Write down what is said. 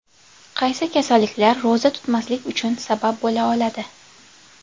Qaysi kasalliklar ro‘za tutmaslik uchun sabab bo‘la oladi?.